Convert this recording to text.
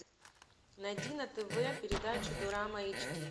найди на тв передачу дорама эйч ди